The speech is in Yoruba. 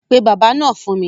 Pe bábà náà fún mi.